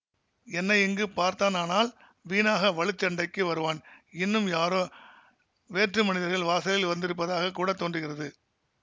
என்னை இங்கு பார்த்தானானால் வீணாக வலுச் சண்டைக்கு வருவான் இன்னும் யாரோ வேற்று மனிதர்கள் வாசலில் வந்திருப்பதாகக் கூடத்தோன்றுகிறது